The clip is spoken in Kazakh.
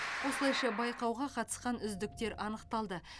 осылайша байқауға қатысқан үздіктер анықталды